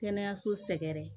Kɛnɛyaso sɛgɛrɛ